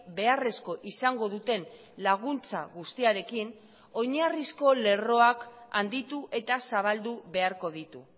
beharrezko izango duten laguntza guztiarekin oinarrizko lerroak handitu eta zabaldu beharko ditu